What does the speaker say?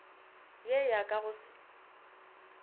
ye ya ka go se